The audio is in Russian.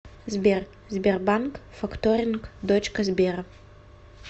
сбер сбербанк факторинг дочка сбера